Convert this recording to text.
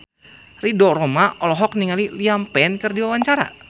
Ridho Roma olohok ningali Liam Payne keur diwawancara